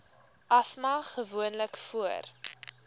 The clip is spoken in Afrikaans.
asma gewoonlik voor